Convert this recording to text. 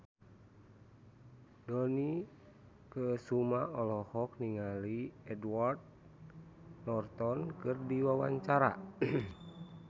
Dony Kesuma olohok ningali Edward Norton keur diwawancara